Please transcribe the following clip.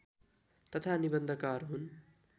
तथा निबन्धकार हुन्